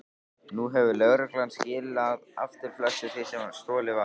Nú hefur lögreglan skilað aftur flestu því sem stolið var.